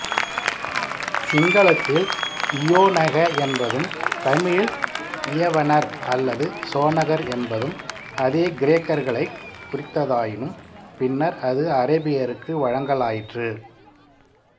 சிங்களத்தில் இயோனக என்பதும் தமிழில் இயவனர் அல்லது சோனகர் என்பதும் அதே கிரேக்கர்களைக் குறித்ததாயினும் பின்னர் அது அரபியருக்கு வழங்கலாயிற்று